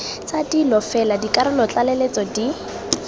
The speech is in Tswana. tsa dilo fela dikarolotlaleletso di